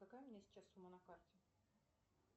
какая у меня сейчас сумма на карте